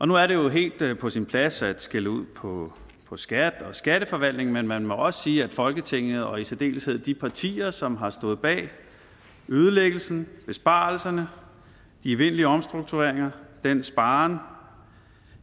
nu er det jo helt på sin plads at skælde ud på på skat og skatteforvaltningen men man må også sige at folketinget og i særdeleshed de partier som har stået bag ødelæggelsen besparelserne de evindelige omstruktureringer af skattevæsenet den sparen